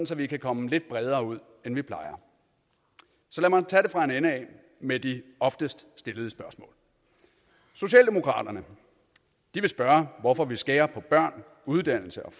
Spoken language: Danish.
så vi kan komme lidt bredere ud end vi plejer så lad mig tage det fra en ende af med de oftest stillede spørgsmål socialdemokraterne vil spørge hvorfor vi skærer på børn uddannelse og